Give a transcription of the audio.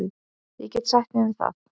Ég get sætt mig við það.